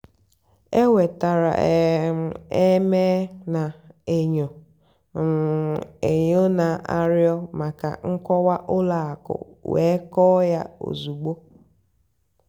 énwètárá um m éméel nà-ènyó um ènyó nà-àrịọ́ màkà nkọ́wá ùlọ àkụ́ wéé kọ́ọ́ yá ózùgbó.